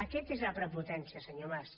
aquesta és la prepotència senyor mas